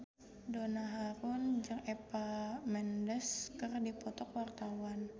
Donna Harun jeung Eva Mendes keur dipoto ku wartawan